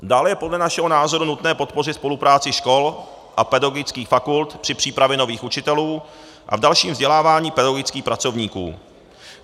Dále je podle našeho názoru nutné podpořit spolupráci škol a pedagogických fakult při přípravě nových učitelů a v dalším vzdělávání pedagogických pracovníků.